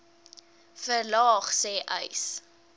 verlaag sê uys